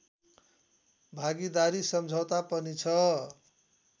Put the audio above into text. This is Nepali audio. भागीदारी समझौता पनि छ